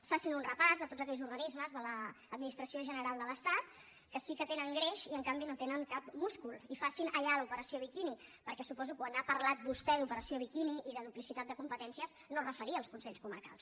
facin un repàs de tots aquells organismes de l’administració general de l’estat que sí que tenen greix i en canvi no tenen cap múscul i facin allà l’operació biquini perquè suposo que quan ha parlat vostè d’ operació biquini i de duplicitat de competències no es referia als consells comarcals